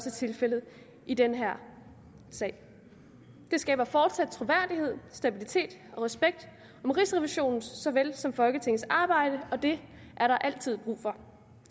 er tilfældet i den her sag det skaber fortsat troværdighed stabilitet og respekt om rigsrevisionens så vel som folketingets arbejde og det er der altid brug for